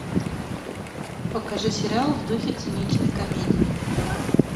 покажи сериал в духе циничной комедии